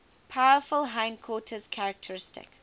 powerful hindquarters characteristic